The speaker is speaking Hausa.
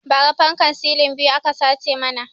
Ba ra fankan silin biyu aka sace mana